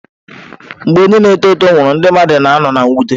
Mgbe onye na-eto eto nwụrụ, ndị mmadụ na-ano na mwute.